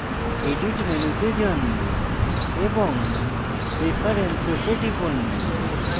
edit মেনুতে যান এবং preferences এ টিপুন